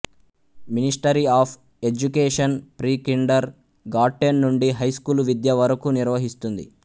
ministry of education pre kindergarten నుండి high school విద్య వరకు నిర్వహిస్తుంది